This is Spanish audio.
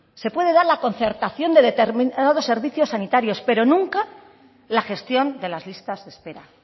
se puede dar la concertación de determinados servicios sanitarios pero nunca la gestión de las listas de espera